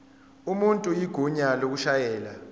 umuntu igunya lokushayela